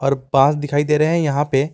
और पास दिखाई दे रहे हैं यहां पे।